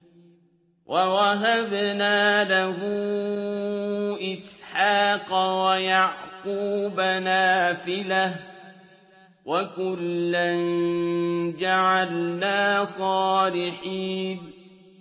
وَوَهَبْنَا لَهُ إِسْحَاقَ وَيَعْقُوبَ نَافِلَةً ۖ وَكُلًّا جَعَلْنَا صَالِحِينَ